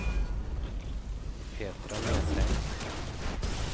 Petra Nesheim